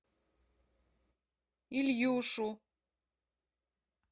ильюшу